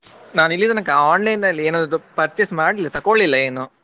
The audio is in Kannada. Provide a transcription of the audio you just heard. ನಾನು ಇಲ್ಲಿ ತನಕ online ಅಲ್ಲಿ ಏನಾದ್ರು purchase ಮಾಡ್ಲಿಲ್ಲ ತಕ್ಕೋಳಿಲ್ಲ ಏನು.